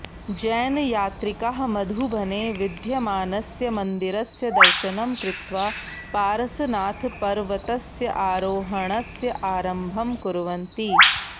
जैनयात्रिकाः मधुबने विद्यमानस्य मन्दिरस्य दर्शनं कृत्वा पारसनाथपर्वतस्य आरोहणस्य आरम्भं कुर्वन्ति